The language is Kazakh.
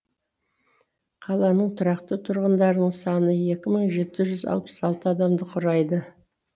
қаланың тұрақты тұрғындарының саны екі мың жеті жүз алпыс алты адамды құрайды